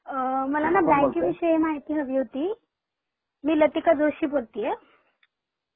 तुम्ही कोण बोलताय ?मला न बँकेविषयी हा बोलतोय न माहिती हवी होती ?मी लतीका जोशी बोलतीये.